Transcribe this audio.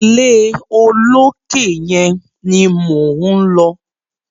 Ilé olókè yẹn ni mò ń lọ.